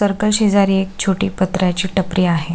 शेजारी एक छोट्या पत्र्याची टपरी आहे.